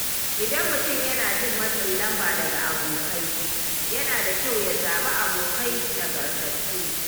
Idan mutum yana jin matsin lamba daga abokai, yana da kyau ya zaɓi abokai nagartattu.